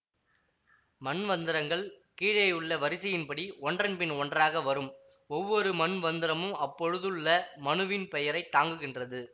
மன்வந்தரங்கள் கீழேயுள்ள வரிசையின்படி ஒன்றன்பின் ஒன்றாக வரும் ஒவ்வொரு மன்வந்தரமும் அப்பொழுதுள்ள மனுவின் பெயரை தாங்குகின்றது